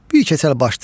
Bir Keçəl başdır.